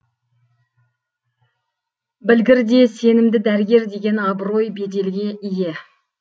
білгір де сенімді дәрігер деген абырой беделге ие